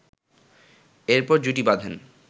এরপর জুটি বাঁধেন